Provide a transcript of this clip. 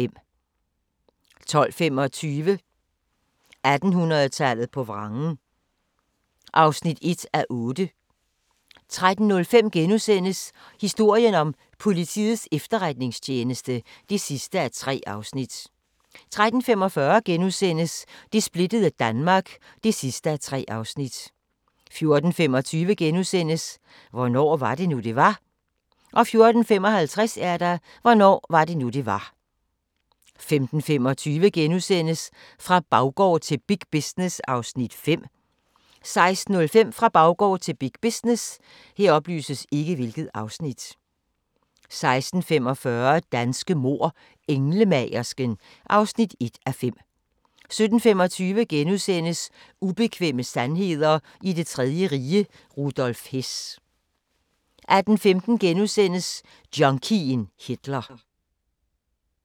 12:25: 1800-tallet på vrangen (1:8) 13:05: Historien om Politiets Efterretningstjeneste (3:3)* 13:45: Det splittede Danmark (3:3)* 14:25: Hvornår var det nu, det var? * 14:55: Hvornår var det nu det var 15:25: Fra baggård til big business (Afs. 5)* 16:05: Fra baggård til big business 16:45: Danske mord: Englemagersken (1:5) 17:25: Ubekvemme sandheder i det tredje rige - Rudolf Hess * 18:15: Junkien Hitler *